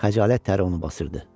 Xəcalət təri onu basırdı.